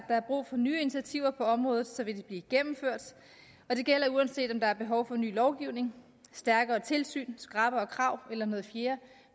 er brug for nye initiativer på området vil de blive gennemført og det gælder uanset om der er behov for ny lovgivning stærkere tilsyn skrappere krav eller noget fjerde